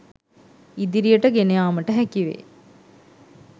ඉදිරියට ගෙන යාමට හැකි වේ.